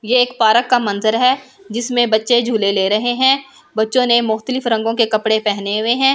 ये एक पारक का मंजर है जिसमें बच्‍चे झूले ले रहे हैं बच्‍चों ने मुकतलिब रंग के कपड़े पहने हुए हैं नीचे एक घा--